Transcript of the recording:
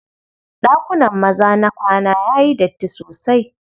Ɗakunan maza na kwana yayi datti sosai.